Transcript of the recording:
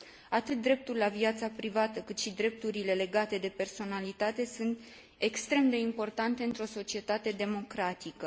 Atât dreptul la viața privată, cât și drepturile legate de personalitate sunt extrem de importante într o societate democratică.